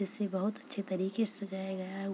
इसे बहुत अच्छे तरीके से सजाया गया है।